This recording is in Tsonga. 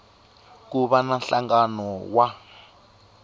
ku va na nhlangano wa